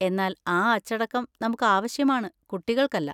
എന്നാൽ ആ അച്ചടക്കം നമുക്കാവശ്യമാണ്, കുട്ടികൾക്കല്ല.